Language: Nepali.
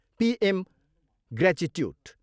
PM gratuity.